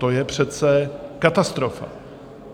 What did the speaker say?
To je přece katastrofa.